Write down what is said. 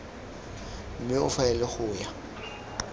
mme o faele go ya